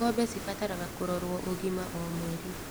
Ngombe cibataraga kũrorwo ũgima o mweri.